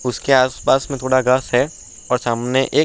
उसके आस पास मे थोड़ा घास है और सामने एक --